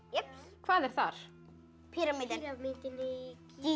hvað er þar píramídinn í